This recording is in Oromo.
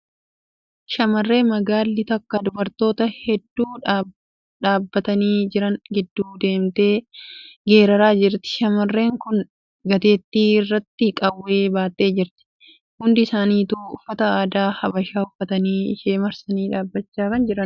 Shamarree magaalli takka dubartoota hedduu dhaabbatanii jiran gidduu deemtee geeraraa jirti. Shamarreen tun gateetti irratti qawwee baattee jirti . Hundi isaanitu uffata aadaa Habashaa uffatanii ishee marsanii dhaabachaa jiru jiru .